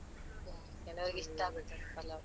ಕೆಲವರಿಗೆ ಇಷ್ಟ ಆಗುತ್ತೆ ಪಲಾವ್.